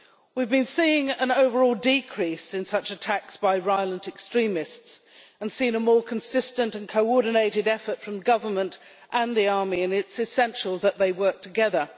We have been seeing an overall decrease in such attacks by violent extremists and have seen a more consistent and coordinated effort from the government and the army, and it is essential that they work together.